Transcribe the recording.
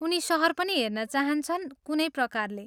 उनी सहर पनि हेर्न चाहन्छन्, कुनै प्रकारले।